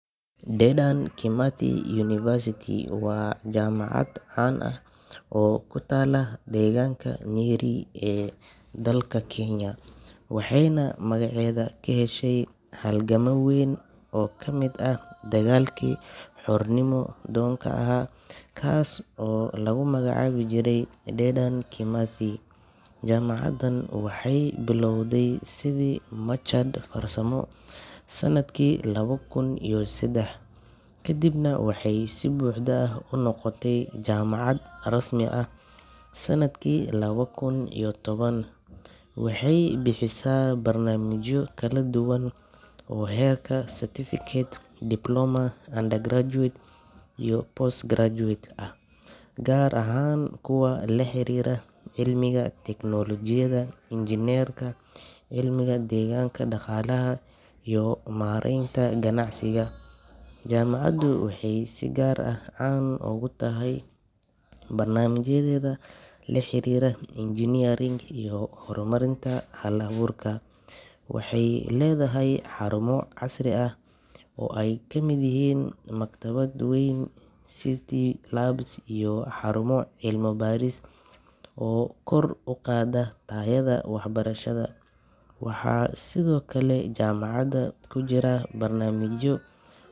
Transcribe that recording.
Dedan Kimathi University waa jaamacad caan ah oo ku taalla deegaanka Nyeri ee dalka Kenya, waxayna magaceeda ka heshay halgamaa weyn oo ka mid ahaa dagaalkii xornimo-doonka ahaa, kaas oo lagu magacaabi jiray Dedan Kimathi. Jaamacaddan waxay bilowday sidii machad farsamo sanadkii laba kun iyo saddex, kadibna waxay si buuxda u noqotay jaamacad rasmi ah sanadkii laba kun iyo toban. Waxay bixisaa barnaamijyo kala duwan oo heerka certificate, diploma, undergraduate iyo postgraduate ah, gaar ahaan kuwa la xiriira cilmiga tiknoolajiyadda, injineerinka, cilmiga deegaanka, dhaqaalaha, iyo maaraynta ganacsiga. Jaamacaddu waxay si gaar ah caan ugu tahay barnaamijyadeeda la xiriira engineering iyo horumarinta hal-abuurka. Waxay leedahay xarumo casri ah oo ay ka mid yihiin maktabad weyn, ICT labs, iyo xarumo cilmi baaris oo kor u qaada tayada waxbarashada. Waxaa sidoo kale jaamacadda ka jira barnaamijyo.